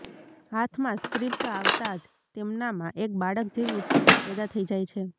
હાથમાં સ્ક્રિપ્ટ આવતાં જ તેમનામાં એક બાળક જેવી ઉત્સુકતા પેદા થઈ જાય છે